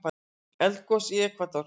Eldgos í Ekvador